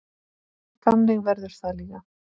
Þannig verður það líka.